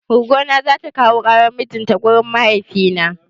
Goggo na zata kawo ƙaran mijin ta wurin mahaifina.